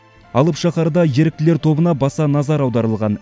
алып шаһарда еріктілер тобына баса назар аударылған